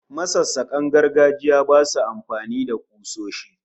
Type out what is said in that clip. Masassakan gargajiya basu amfani da kusoshi